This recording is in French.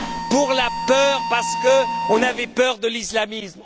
Pour la peur, parce qu'on avait peur de l'islamisme.